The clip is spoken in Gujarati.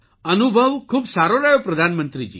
અનુભવ ખૂબ સારો રહ્યો પ્રધાનમંત્રીજી